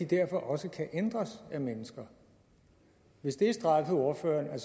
derfor også kan ændres af mennesker hvis det har strejfet ordføreren at